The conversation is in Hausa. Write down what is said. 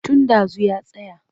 Tun ɗazu ya tsaya.